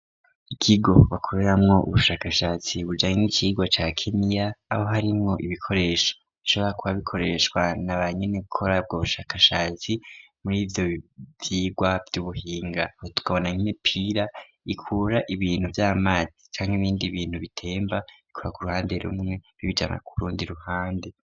Ikigo bakoreramwo ubushakashatsi bujanye icirwa ca kemiya aho harimwo ibikoresha isobora kuba bikoreshwa na ba nyene gukora bwo bushakashatsi muri ivyo vyirwa vy'ubuhinga aho tukabona nmipira ikura ibintu vy'amazi canke ibindi bintu bitemba bikora ku ruhande rumwe bibeijama ku rundi ruhande.